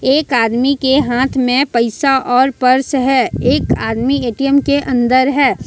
एक आदमी के हाथ में पइसा और पर्स है एक आदमी ए_टी_एम के अंदर है।